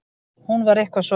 Hún var eitthvað svo.